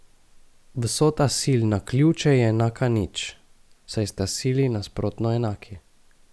Vsota sil na ključe je enaka nič, saj sta sili nasprotno enaki.